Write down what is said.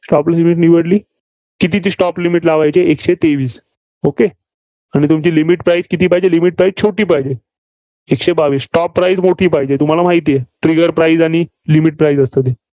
Stop limit निवडली? कितीची stop limit लावयाची आहे. एकशे तेवीस. okay आणि तुमची limit price किती पाहिजे? limit price छोटी पाहिजे. एकशे बावीस. stop price मोठी पाहिजे, तुम्हाला माहितेय. Trigger price आणि limit price असतं ते.